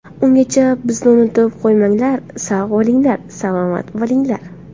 Ungacha bizni unutib qo‘ymanglar, sog‘ bo‘linglar, salomat bo‘linglar.